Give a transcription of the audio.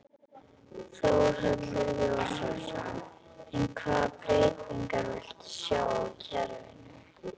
Þórhallur Jósefsson: En hvaða breytingar viltu sjá á kerfinu?